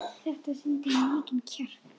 Þetta sýndi mikinn kjark.